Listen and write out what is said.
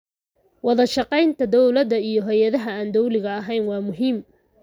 Wadashaqeynta dowladda iyo hay'adaha aan dawliga ahayn waa muhiim.